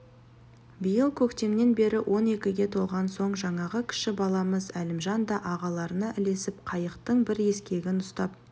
биыл көктемнен бері он екіге толған соң жаңағы кіші баламыз әлімжан да ағаларына ілесіп қайықтың бір ескегін ұстап